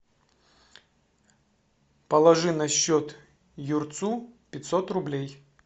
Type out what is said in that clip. положи на счет юрцу пятьсот рублей